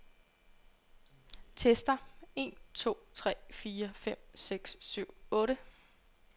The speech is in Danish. Tester en to tre fire fem seks syv otte.